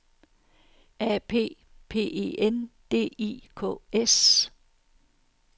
A P P E N D I K S